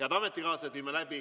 Ootame aktiivset osavõtt.